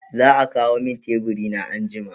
Za a kawo mun teburi na anjima.